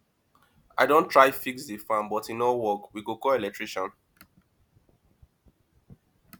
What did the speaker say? i don try fix di fan but e no work we go call electrician